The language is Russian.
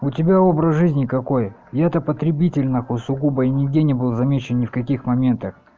у тебя образ жизни какой и это потребитель нахуй сугубо и нигде не был замечен ни в каких моментах